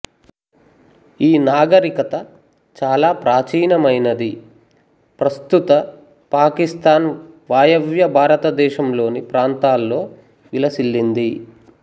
ఈ నాగరికత చాలా ప్రాచీనమైనది ప్రస్తుత పాకిస్తాన్ వాయవ్య భారతదేశంలోని ప్రాంతాల్లో విలసిల్లింది